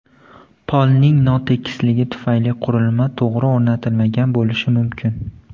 Polning notekisligi tufayli qurilma to‘g‘ri o‘rnatilmagan bo‘lishi mumkin.